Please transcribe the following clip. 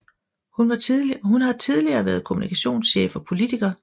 Hun har tidligere været kommunikationschef og politiker